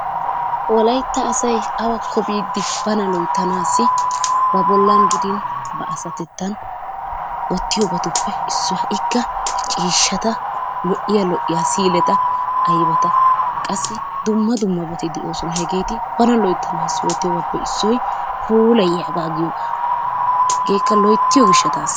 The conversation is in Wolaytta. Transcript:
Wolaytta asay awakko biidi bana loyttanaassi ba bollan gidin ba asatettan wottiyobatuppe issuwa. Ikka ciishshata lo'iya lo'iyaa siileta aybata qassi dumma dumma loyttanaassi oottiyobaappe issoy puulayiyaagaa giyoogaa hegeekka loyttiyo gishshatas.